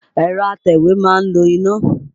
Ẹ̀rọ atẹ̀wé ma ń lo iná.